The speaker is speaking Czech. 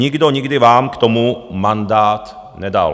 Nikdo nikdy vám k tomu mandát nedal.